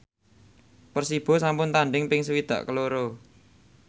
Persibo sampun tandhing ping swidak loro